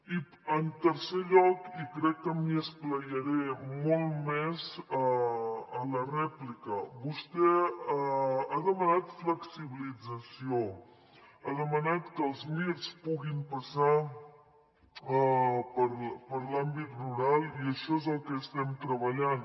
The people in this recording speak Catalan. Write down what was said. i en tercer lloc i crec que m’hi esplaiaré molt més a la rèplica vostè ha demanat flexibilització ha demanat que els mirs puguin passar per l’àmbit rural i això és el que estem treballant